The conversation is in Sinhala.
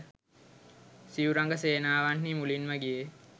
සිව් රඟ සේනාවන්හි මුලින්ම ගියේ